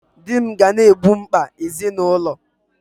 Di m ga na-egbo mkpa ezinụlọ